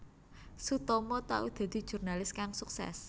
Sutomo tau dadi jurnalis kang suksès